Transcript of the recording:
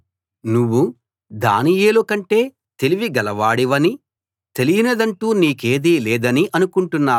నువ్వు దానియేలు కంటే తెలివి గలవాడివనీ తెలియనిదంటూ నీకేదీ లేదనీ అనుకుంటున్నావు